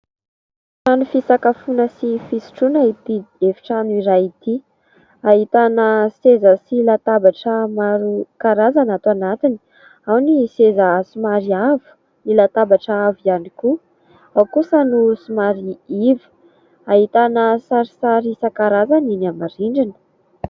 Trano fisakafoana sy fisotroana itỳ efi-trano iray itỳ. Ahitana seza sy latabatra maro karazana ato anatiny. Ao ny seza somary avo, ny latabatra avo ihany koa, ao kosa no somary iva. Ahitana sarisary isan-karazany eny amin'ny rindrina.